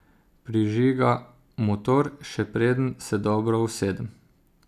Prižiga motor, še preden se dobro usedem.